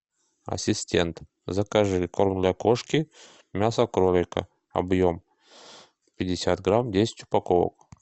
ассистент закажи корм для кошки мясо кролика объем пятьдесят грамм десять упаковок